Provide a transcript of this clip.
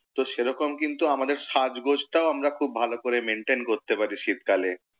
তো সেরকম কিন্তু আমাদের সাজগোজ টাও আমরা খুব ভালো করে maintain করতে পারি শীতকালে।